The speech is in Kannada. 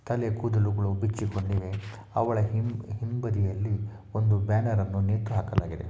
ತಲೆ ಕೂದಲುಗಳೂ ಬಿಚ್ಚಿ ಕೊಂಡಿವೆ ಅವಳ ಹಿಂಬದಿಯಲ್ಲಿ ಒಂದು ಬ್ಯಾನರ್ ಅನು ನೇತು ಹಾಕಲಾಗಿದೆ